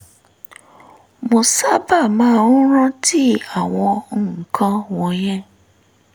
mo sábà máa ń rántí àwọn nǹkan wọ̀nyẹn